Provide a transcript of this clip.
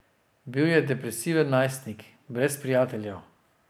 Bil je depresiven najstnik, brez prijateljev.